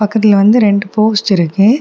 பக்கத்துல வந்து ரெண்டு போஸ்ட் இருக்கு.